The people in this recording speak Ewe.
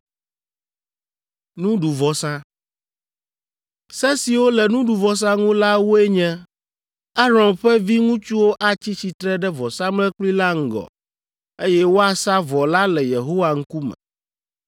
“Se siwo le nuɖuvɔsa ŋu la woe nye: ‘Aron ƒe viŋutsuwo atsi tsitre ɖe vɔsamlekpui la ŋgɔ, eye woasa vɔ la le Yehowa ŋkume.